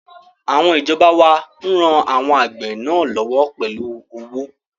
Àwọn ìjọba wá ran àwọn àgbẹ̀ náà lọ́wọ́ pẹ̀lú owó